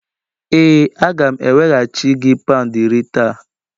Ee a ga m eweghachi gị pound iri taa.